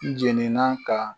N jɛnina ka